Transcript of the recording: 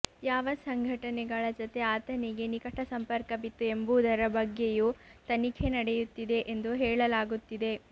ಯಾವ ಸಂಘಟನೆಗಳ ಜತೆ ಆತನಿಗೆ ನಿಕಟ ಸಂಪರ್ಕವಿತ್ತು ಎಂಬುದರ ಬಗ್ಗೆಯೂ ತನಿಖೆ ನಡೆಯುತ್ತಿದೆ ಎಂದು ಹೇಳಲಾಗುತ್ತಿದೆ